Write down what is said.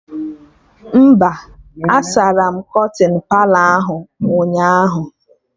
Mba, a sara m kọtịn Palọ ahụ ụnyaahụ